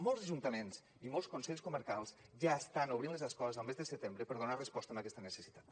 molts ajuntaments i molts consells comarcals ja estan obrint les escoles el mes de setembre per donar resposta a aquesta necessitat